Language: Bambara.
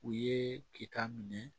U ye keta minɛ